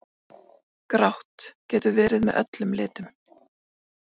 Grátt: Getur verið með öllum litum.